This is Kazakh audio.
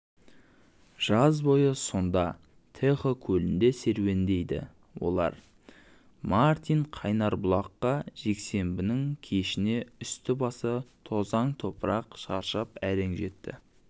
жаз бойы сонда тэхо көлінде серуендейді олармартин қайнарбұлаққа жексенбінің кешіне үсті-басы тозаң-топырақ шаршап әрең жетті